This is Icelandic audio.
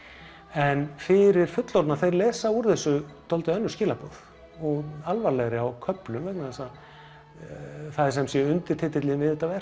en fyrir fullorðna þeir lesa úr þessu önnur skilaboð alvarlegri á köflum vegna þess að það er sem sé undirtitillinn við þetta verk